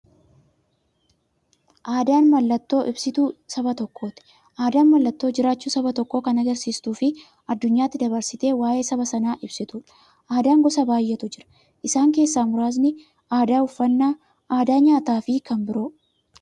Aadaan mallattoo ibsituu saba tokkooti. Aadaan mallattoo jiraachuu saba tokkoo kan agarsiistufi addunyyaatti dabarsitee waa'ee saba sanaa ibsituudha. Aadaan gosa baay'eetu jira. Isaan keessaa muraasni aadaa, uffannaa aadaa nyaataafi kan biroo.